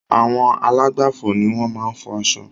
Àwọn alágbàfò ni wọ́n maá n fo aṣọ